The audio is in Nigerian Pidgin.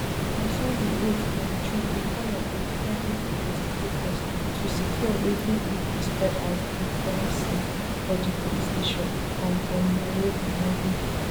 on sunday eight um june e call on independent investigators to secure wetin e describe as di crime scene for di police station um for nairobi nairobi